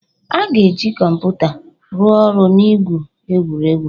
A ga-eji kọmpụta rụọ ọrụ na igwu egwuregwu.